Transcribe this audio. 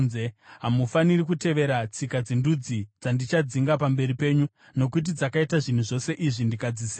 Hamufaniri kutevera tsika dzendudzi dzandichadzinga pamberi penyu. Nokuti dzakaita zvinhu zvose izvi, ndikadzisema.